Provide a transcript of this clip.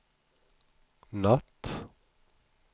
natt